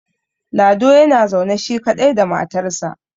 lado yana zaune shi kaɗai da matarsa